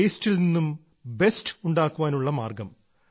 വേസ്റ്റിൽ നിന്നും ബെസ്റ്റ് ഉണ്ടാക്കാൻ ഉള്ള മാർഗം